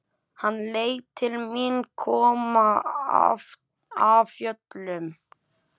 Hann leit til mín, kom af fjöllum.